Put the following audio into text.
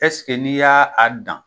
Ɛseke n'i y'a a dan